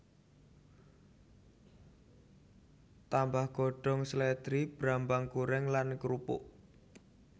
Tambah godhong slèdri brambang goreng lan krupuk